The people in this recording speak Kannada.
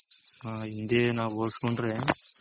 ಆ ಹಿಂದೆ ನಾವ್ ಹೊಲ್ಸ್ ಕೊಂಡ್ರೆ